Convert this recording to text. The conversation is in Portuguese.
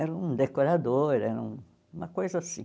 Era um decorador, era uma coisa assim.